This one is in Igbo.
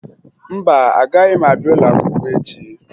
Mba, agaghị m abịa ụlọakwụkwọ echi